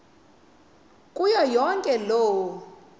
kuyo yonke loo